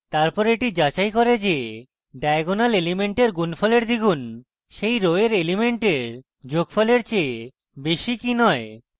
তারপর এটি যাচাই করে যে diagonal element এর গুণফল এর দ্বিগুন সেই row এর element যোগফলের চেয়ে বেশী কি নয়